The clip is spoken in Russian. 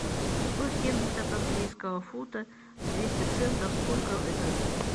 сто семьдесят английского фунта двести центов сколько это